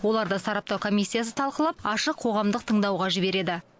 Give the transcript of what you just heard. оларды сараптау комиссиясы талқылап ашық қоғамдық тыңдауға жібереді